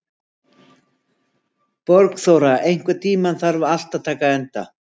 Borgþóra, einhvern tímann þarf allt að taka enda.